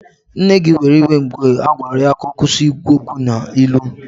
Nne gị were iwe mgbe ha gwara ya ka ọ kwụsị ikwu okwu n'ilu